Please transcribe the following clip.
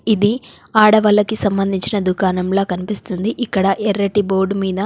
ఇది ఆడవాళ్ళకి సంబంధించిన దుకాణంలా కనిపిస్తుంది. ఇక్కడ ఎర్రటి బోర్డు మీద--